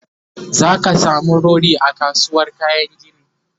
zaka samu rodi a kasuwar kayan gini